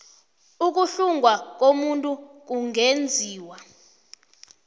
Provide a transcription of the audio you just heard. ukuhlungwa komuntu kungenziwa